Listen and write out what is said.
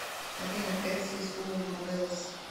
афина эр си скул моделс